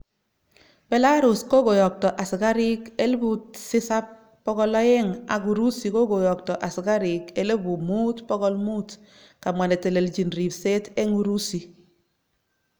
Belarus kokoyokto asikarik 7200 ak Urusi koyokto, asikarik5,500,kamwa netelelchin ripset eng Urusi.